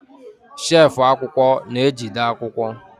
shelfụ akwụkwọ na-ejide akwụkwọ.